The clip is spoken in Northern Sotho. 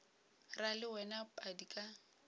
ra le wena padi ka